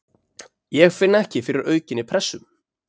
Ég finn ekki fyrir aukinni pressu.